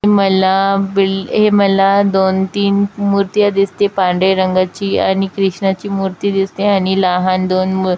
मला बिल्ड हे मला दोन तीन मुर्त्या दिसते पांढरे रंगाची आणि कृष्णाची मूर्ती दिसते आणि लहान दोन मु--